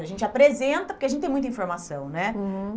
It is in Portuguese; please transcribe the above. A gente apresenta, porque a gente tem muita informação, né? Uhum.